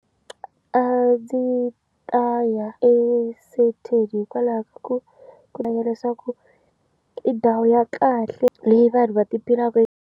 A ndzi ta ya eSandton hikwalaho ku kuhanya leswaku i ndhawu ya kahle leyi vanhu va ti phinaku.